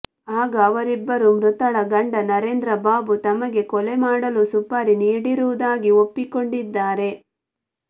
ಆಗ ಅವರಿಬ್ಬರೂ ಮೃತಳ ಗಂಡ ನರೇಂದ್ರ ಬಾಬು ತಮಗೆ ಕೊಲೆ ಮಾಡಲು ಸುಪಾರಿ ನೀಡಿರುವುದಾಗಿ ಒಪ್ಪಿಕೊಂಡಿದ್ದಾರೆ